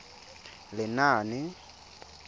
lenaane